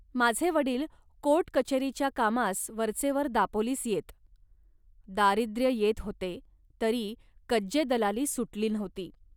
माझे वडील कोर्टकचेरीच्या कामास वरचेवर दापोलीस येत. दारिद्र्य येत होते, तरी कज्जेदलाली सुटली नव्हती